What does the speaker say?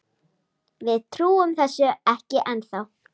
Við trúum þessu ekki ennþá.